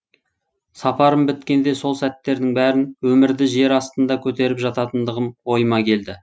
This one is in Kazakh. сапарым біткенде сол сәттердің бәрін өмірді жер астында көтеріп жататындығым ойыма келді